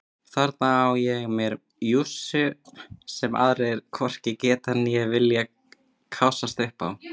Þarna á ég mér jússu sem aðrir hvorki geta né vilja kássast upp á.